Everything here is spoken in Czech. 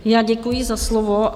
Já děkuji za slovo.